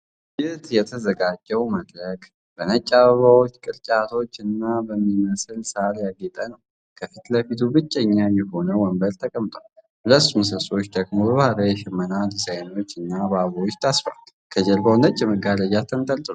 ለዝግጅት የተዘጋጀው መድረክ በነጭ አበባዎች፣ ቅርጫቶች እና በሚመስል ሣር ያጌጠ ነው። ከፊት ለፊቱ ብቸኛ የሆነ ወንበር ተቀምጧል። ሁለት ምሰሶዎች ደግሞ በባህላዊ የሽመና ዲዛይኖች እና በአበባዎች ታስረዋል። ከጀርባው ነጭ መጋረጃዎች ተንጠልጥለዋል።